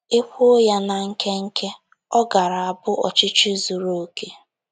E kwuo ya na nkenke, ọ gaara abụ ọchịchị zuru okè.